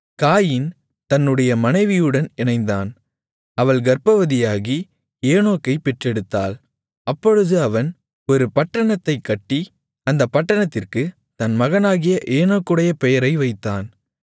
காயீன் தன்னுடைய மனைவியுடன் இணைந்தான் அவள் கர்ப்பவதியாகி ஏனோக்கைப் பெற்றெடுத்தாள் அப்பொழுது அவன் ஒரு பட்டணத்தைக் கட்டி அந்தப் பட்டணத்திற்குத் தன் மகனாகிய ஏனோக்குடைய பெயரை வைத்தான்